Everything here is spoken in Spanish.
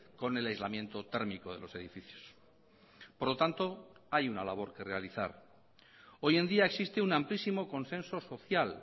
con el aislamiento térmico de los edificios por lo tanto hay una labor que realizar hoy en día existe un amplísimo consenso social